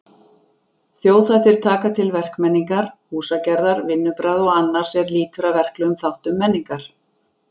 Þjóðhættir taka til verkmenningar, húsagerðar, vinnubragða og annars er lýtur að verklegum þáttum menningar.